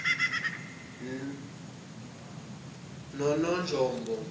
nononjombo